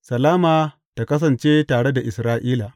Salama tă kasance tare da Isra’ila.